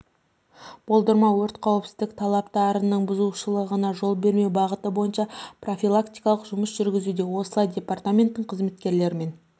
болдырмау өрт қауіпсіздік талаптарының бұзушылығына жол бермеу бағыты бойынша профилактикалық жұмыс жүргізілуде осылай департаменттің қызметкерлерімен